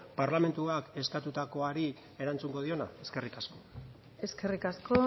parlamentuak eskatutakoari erantzungo diona eskerrik asko eskerrik asko